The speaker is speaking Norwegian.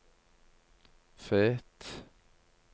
Fet